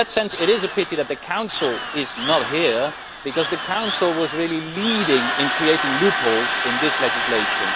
In that sense, it is a pity that the Council is not here because the Council was the leader in creating loopholes in this legislation.